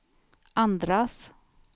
andras